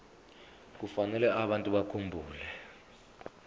kufanele abantu bakhumbule